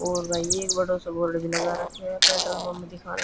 और भई एक बडो सो बोर्ड भी लगा राख्यो ह पेट्रोल पंप दिखाण--